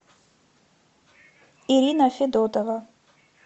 ирина федотова